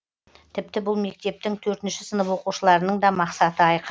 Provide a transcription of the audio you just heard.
тіпті бұл мектептің төртінші сынып оқушыларының да мақсаты айқын